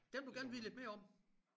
Den vil du gerne vide lidt mere om